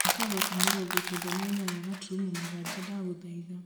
thaaka rock mĩrongo kenda na inyanya gaturumo mũgwanja ndagũthaitha